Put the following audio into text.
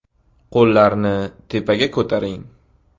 Qo‘llarni tepaga ko‘taring.